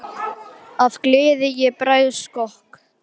Af gleði ég bregð á skokk.